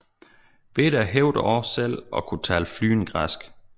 Beda hævder også selv at kunne tale flydende græsk